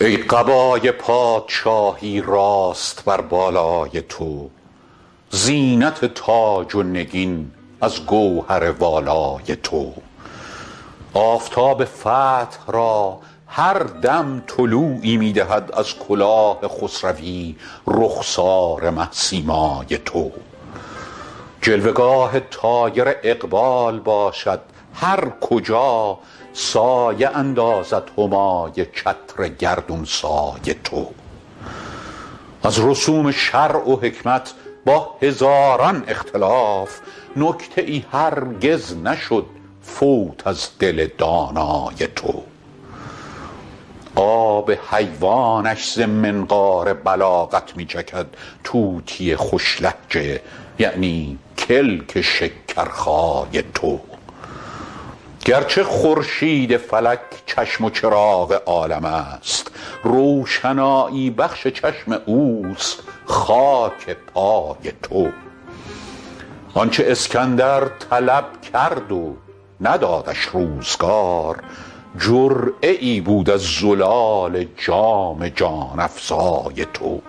ای قبای پادشاهی راست بر بالای تو زینت تاج و نگین از گوهر والای تو آفتاب فتح را هر دم طلوعی می دهد از کلاه خسروی رخسار مه سیمای تو جلوه گاه طایر اقبال باشد هر کجا سایه اندازد همای چتر گردون سای تو از رسوم شرع و حکمت با هزاران اختلاف نکته ای هرگز نشد فوت از دل دانای تو آب حیوانش ز منقار بلاغت می چکد طوطی خوش لهجه یعنی کلک شکرخای تو گرچه خورشید فلک چشم و چراغ عالم است روشنایی بخش چشم اوست خاک پای تو آن چه اسکندر طلب کرد و ندادش روزگار جرعه ای بود از زلال جام جان افزای تو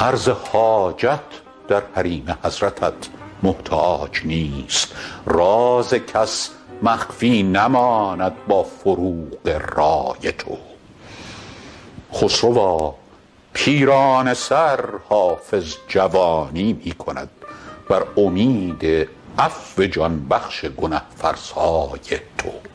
عرض حاجت در حریم حضرتت محتاج نیست راز کس مخفی نماند با فروغ رای تو خسروا پیرانه سر حافظ جوانی می کند بر امید عفو جان بخش گنه فرسای تو